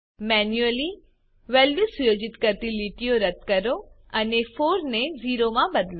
manually values સુયોજિત કરતી લીટીઓ રદ કરો અને 4 ને 0 માં બદલો